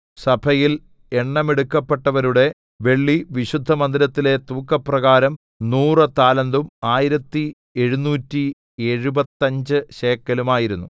സഭയിൽ എണ്ണമെടുക്കപ്പെട്ടവരുടെ വെള്ളി വിശുദ്ധമന്ദിരത്തിലെ തൂക്കപ്രകാരം നൂറു താലന്തും ആയിരത്തി എഴുനൂറ്റി എഴുപത്തഞ്ച് ശേക്കെലും ആയിരുന്നു